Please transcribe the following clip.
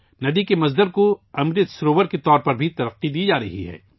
ندی کے اصل مقام کو امرت سروور کے طور پر بھی فروغ دیا جا رہا ہے